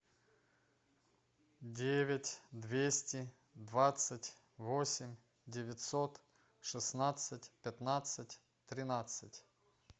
девять двести двадцать восемь девятьсот шестнадцать пятнадцать тринадцать